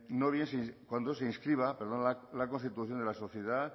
cuando se inscriba la constitución de la sociedad